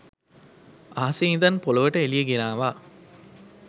අහසෙ ඉඳන් පොළොවට එළිය ගෙනාවා